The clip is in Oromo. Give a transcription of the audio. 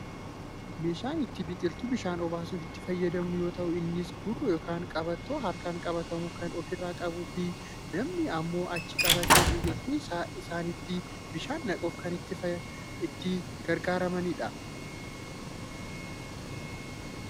meeshaa ittiin biqiltuu bishaan obaasuuf itti fayyadamnu yoo ta'u innis gurroo yookaan qabattoo harkaan qabatamu kan ofirraa qabuu fi namni ammoo achi qabatee biqiltuu isaaniitti bishaan naquuf kan itti gargaarramanidha.